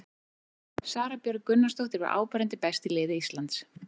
Sara Björg Gunnarsdóttir var áberandi best í liði Íslands.